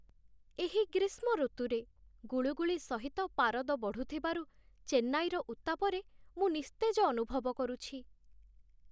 ଏହି ଗ୍ରୀଷ୍ମ ଋତୁରେ, ଗୁଳୁଗୁଳି ସହିତ ପାରଦ ବଢ଼ୁଥିବାରୁ ଚେନ୍ନାଇର ଉତ୍ତାପରେ ମୁଁ ନିସ୍ତେଜ ଅନୁଭବ କରୁଛି।